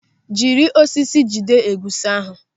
Jiri osisi jide egusi ahụ!